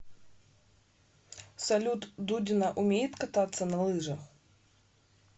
салют дудина умеет кататься на лыжах